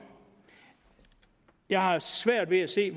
jeg har svært ved at se